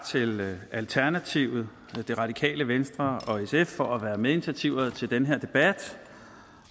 til alternativet radikale venstre og sf for være medinitiativtagere til den her debat